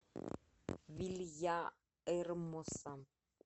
вильяэрмоса